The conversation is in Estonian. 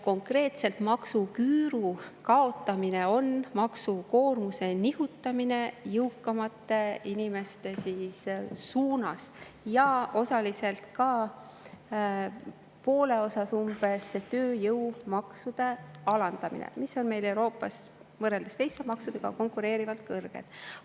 Konkreetselt maksuküüru kaotamine on maksukoormuse nihutamine jõukamate inimeste suunas ja osaliselt, poole osas umbes, ka tööjõumaksude alandamine, mis on meil Euroopas võrreldes teiste maksudega kõrged.